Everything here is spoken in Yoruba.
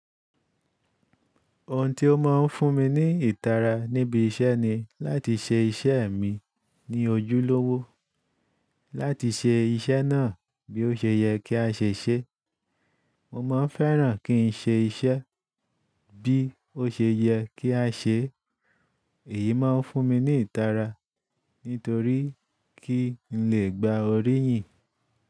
Ohun tí ó máa ń fún mi ní ìtara níbi iṣẹ́ ni láti ṣe iṣẹ́ mi ní ojúlówó, láti ṣe iṣẹ́ náà bí ó ṣe yẹ kí a ṣe ṣe. Mo n máa ń fẹ́ràn kí n ṣe iṣẹ́ bí ó ṣe yẹ kí a ṣe. Èyí máa ń fún mi ní ìtara nítorí kí n lè gba oríyìn.